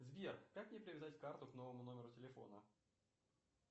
сбер как мне привязать карту к новому номеру телефона